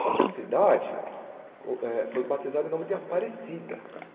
Só que a cidade eh foi batizada em nome de Aparecida.